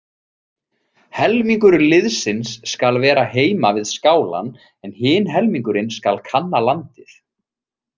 Helmingur liðsins skal vera heima við skálann en hinn helmingurinn skal kanna landið.